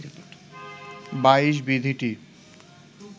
২২ বিধিটি